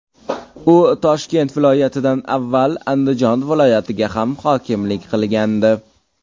U Toshkent viloyatidan avval Andijon viloyatiga ham hokimlik qilgandi.